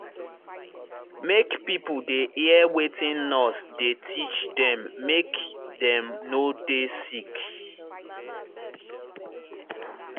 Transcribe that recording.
make pipo dey hear wetin nurse dey teach dem make dem no dey sick.